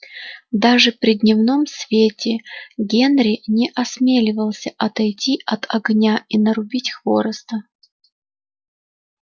даже при дневном свете генри не осмеливался отойти от огня и нарубить хвороста